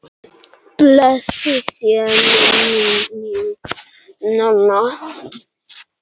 Blessuð sé minning Nonna.